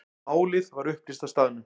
Málið var upplýst á staðnum.